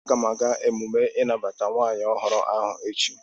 Aga m aga emume inabata nwunye ohuru ahu echi